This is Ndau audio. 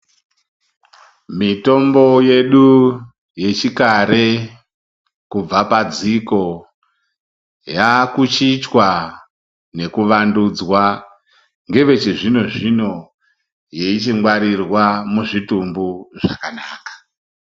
Mitombo yedu yechikare kubva padziko yakuchichwa nekuvandudzwa ngevechizvino zvino yeichingwarirwa muzvitumbu zvakanaka.